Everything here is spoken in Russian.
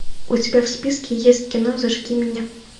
у тебя в списке есть кино зажги меня